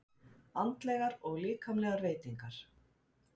ANDLEGAR OG LÍKAMLEGAR VEITINGAR